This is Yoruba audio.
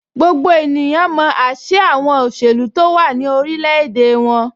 Gbogbo ènìyàn mọ ásíá àwọn òṣèlú tó wà ní orilẹ̀-èdè wọn.